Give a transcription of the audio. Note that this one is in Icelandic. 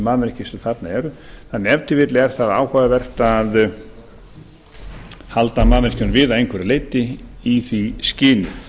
mannvirki sem þarna eru en ef til vill er það áhugavert að halda mannvirkjunum við að einhverju leyti í því skyni